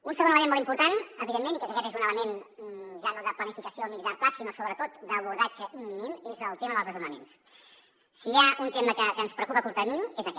un segon element molt important evidentment i crec que aquest és un element ja no de planificació a mitjà llarg termini sinó sobretot d’abordatge imminent és el tema dels desnonaments si hi ha un tema que ens preocupa a curt termini és aquest